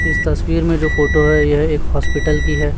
इस तस्वीर में जो फोटो है यह एक हॉस्पिटल की है।